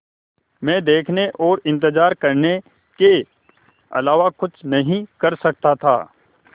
मैं देखने और इन्तज़ार करने के अलावा कुछ नहीं कर सकता था